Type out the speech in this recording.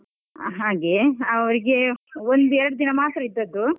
ಹಾಗೆ ಅವ್ರಿಗೆ ಒಂದೆರಡು ದಿನ ಮಾತ್ರ ಇದದ್ದು.